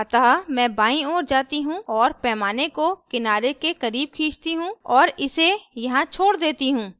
अतः मैं बाईं ओर जाती हूँ और मैं पैमाने को किनारे के करीब खींचती हूँ और इसे यहाँ छोड़ देती हूँ